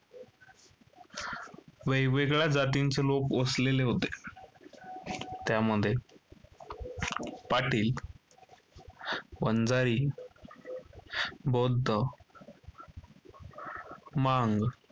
वेगवेगळ्या जातींचे लोक वसलेले होते, त्यामध्ये पाटील, वंजारी, बौद्ध, मांग,